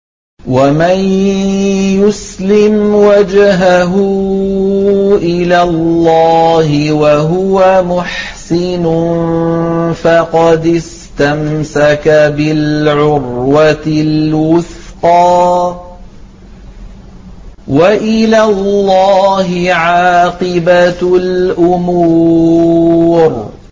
۞ وَمَن يُسْلِمْ وَجْهَهُ إِلَى اللَّهِ وَهُوَ مُحْسِنٌ فَقَدِ اسْتَمْسَكَ بِالْعُرْوَةِ الْوُثْقَىٰ ۗ وَإِلَى اللَّهِ عَاقِبَةُ الْأُمُورِ